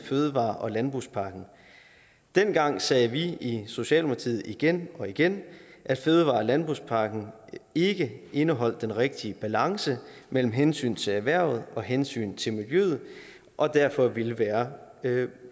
fødevare og landbrugspakken dengang sagde vi i socialdemokratiet igen og igen at fødevare og landbrugspakken ikke indeholdt den rigtige balance mellem hensyn til erhvervet og hensyn til miljøet og derfor ville være